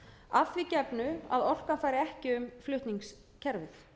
að því gefnu að orka fari ekki um flutningskerfið